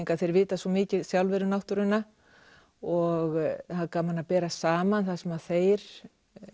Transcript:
þeir vita svo mikið sjálfir um náttúruna og það er gaman að bera saman það sem þeir